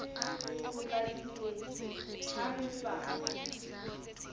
potlakile le ha re sa